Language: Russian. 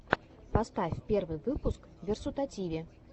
поставь первый выпуск версутативи